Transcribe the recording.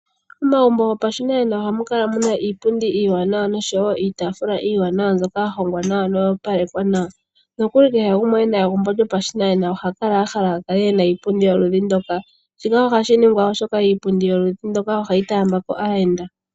Omagumbo gopashinanena ohamu kala muna iipundi iiwanawa nosho wo iitaafula iiwanawa mbyoka ya hongwa nawa yo oya opalekwa nawa. Nokuli kehe gumwe ena egumbo lyopashinanena ohakala ahala akale ena iipundi yoludhi ndoka. Shika ohashi ningwa oshoka iipundi yoludhi ndoka ohayi taambako aayenda..